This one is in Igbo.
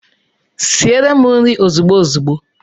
Siere m nri ozigbo ozigbo